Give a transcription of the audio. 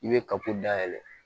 I bɛ dayɛlɛ